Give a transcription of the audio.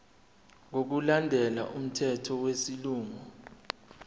ngokulandela umthetho wesilungu